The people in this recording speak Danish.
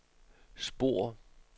spor